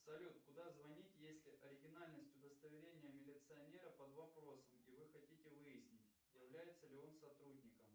салют куда звонить если оригинальность удостоверения милиционера под вопросом и вы хотите выяснить является ли он сотрудником